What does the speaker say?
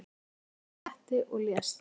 Féll fram af kletti og lést